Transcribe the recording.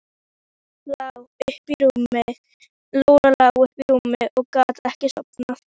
Lóa-Lóa lá uppi í rúmi og gat ekki sofnað.